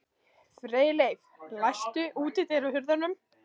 Freyleif, læstu útidyrunum.